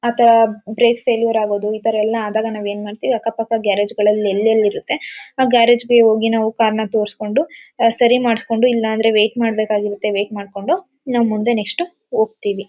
ಮತ್ತೆ brake failure ಆಗದು ಈತರ ಎಲ್ಲ ಆದಾಗ ನಾವ್ ಏನ್ ಮಾಡ್ತೀವಿ ಅಕ್ಕ ಪಕ್ಕ ಗ್ಯಾರೇಜ್ ಗಳಲ್ ಎಲ್ ಎಲ್ ಇರತ್ತೆ. ಆ ಗ್ಯಾರೇಜ್ ಗೆ ಹೋಗಿ ನಾವ್ ಕಾರ್ ನ ತೋರಿಸ್ಕೊಂಡು ಹ ಸರಿ ಮಾಡ್ಸ್ಕೊಂಡು ಇಲ್ಲ ಅಂದ್ರೆ ವೇಟ್ ಮಾಡ್ಬೇಕಾಗಿರತ್ತೆ ವೇಟ್ ಮಾಡ್ಕೊಂಡು ನಾವ್ ಮುಂದೆ ನೆಕ್ಸ್ಟ್ ಹೋಗ್ತಿವಿ.